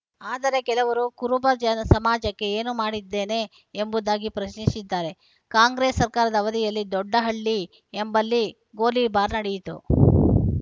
ಆದರೆ ಕೆಲವರು ಕುರುಬ ಸಮಾಜಕ್ಕೆ ಏನು ಮಾಡಿದ್ದೇನೆ ಎಂಬುದಾಗಿ ಪ್ರಶ್ನಿಸಿದ್ದಾರೆ ಕಾಂಗ್ರೆಸ್‌ ಸರ್ಕಾರದ ಅವಧಿಯಲ್ಲಿ ದೊಡ್ಡಹಳ್ಳಿ ಎಂಬಲ್ಲಿ ಗೋಲಿಬಾರ್‌ ನಡೆಯಿತು